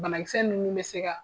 Banakisɛ ninnu bɛ se ka